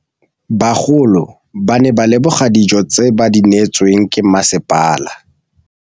Bagolo ba ne ba leboga dijô tse ba do neêtswe ke masepala.